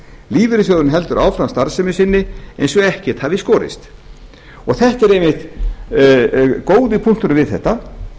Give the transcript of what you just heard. lífeyrissjóðurinn heldur áfram starfsemi sinni eins og ekkert hafi í skorist þetta er einmitt góði punkturinn við þetta